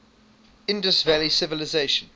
indus valley civilization